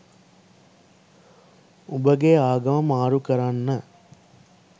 උඹගේ ආගම මාරු කරන්න.